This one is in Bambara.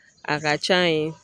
A ka ca yen